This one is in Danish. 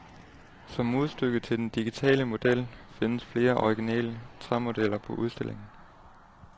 Som modstykke til den digitale model, findes flere originale træmodeller på udstillingen.